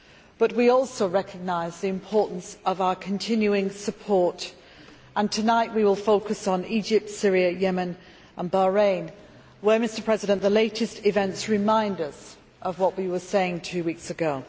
But we also recognised the importance of our continuing support and tonight we will focus on Egypt, Syria, Yemen and Bahrain where the latest events remind us of what we were saying two weeks ago.